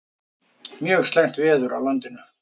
Mjög slæmt veður á landinu